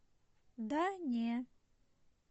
да не